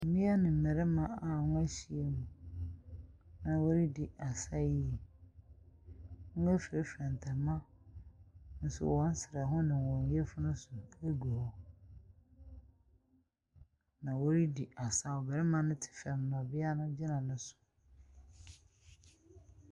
Mmea ne mmarima a wɔahyiam na wɔredi asa yie. Wɔafurafura ntama nso wɔn serɛ ho ne wɔn yafunu so gu hɔ na wɔredi asaw. Barima no te fam na ɔbea no gyina no so.